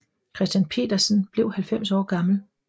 Christian Petersen blev 90 år gammel